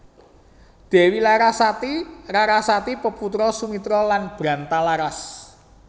Dèwi Larasati Rarasati peputra Sumitra lan Brantalaras